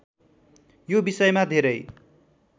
यो विषयमा धेरै